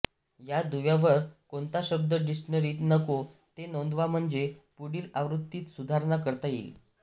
या दुव्यावर कोणता शब्द डिक्शनरीत नको ते नोंदवा म्हणजे पुढील आवृत्तीत सुधारणा करता येईल